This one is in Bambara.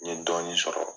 N ye dɔɔnin sɔrɔ